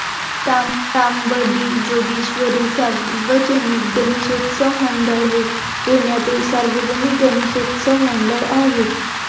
तांबडी जोगेश्वरी सार्वजनिक गणेशोत्सव मंडळ हे पुण्यातील सार्वजनिक गणेशोत्सव मंडळ आहे.